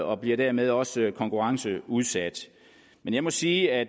og bliver dermed også konkurrenceudsat men jeg må sige at